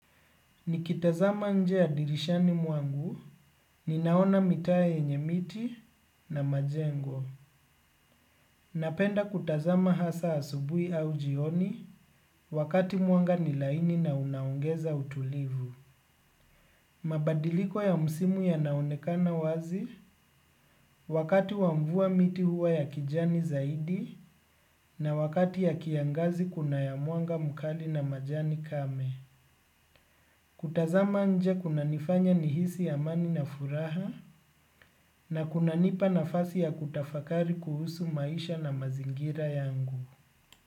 Nikitazama nje ya dirishani mwangu, ninaona mitaa yenye miti na majengo. Napenda kutazama hasa asubuhi au jioni wakati mwanga ni laini na unaongeza utulivu. Mabadiliko ya msimu yanaonekana wazi wakati wa mvua miti huwa ya kijani zaidi na wakati ya kiangazi kuna ya mwanga mkali na majani kame. Kutazama nje kunanifanya nihisi amani na furaha na kunanipa nafasi ya kutafakari kuhusu maisha na mazingira yangu.